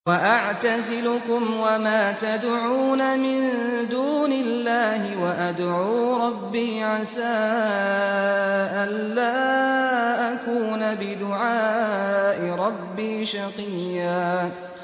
وَأَعْتَزِلُكُمْ وَمَا تَدْعُونَ مِن دُونِ اللَّهِ وَأَدْعُو رَبِّي عَسَىٰ أَلَّا أَكُونَ بِدُعَاءِ رَبِّي شَقِيًّا